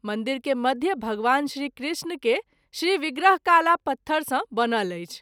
मंदिर के मध्य भगवान श्री कृष्ण के श्री विग्रहकाला पत्थर सँ बनल अछि।